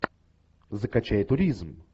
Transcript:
закачай туризм